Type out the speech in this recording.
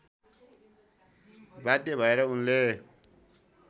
बाध्य भएर उनले